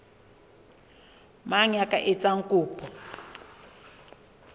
mang ya ka etsang kopo